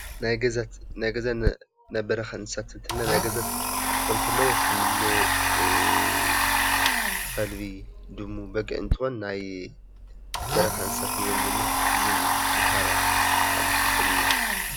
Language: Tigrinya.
ናይ ገዛን ናይ በረኻን እንስሳ ኽንብል ከለና መለት ናይ ገዛ እንስሳታት ኸልቢ፣ ድሙን በጊዕን ዝኣመሰሉ እንትኾኑ ናይ በረኻ ድማ ዝብኢ፣ ቡዃርያ ዝኣመሰሉ እዮመ።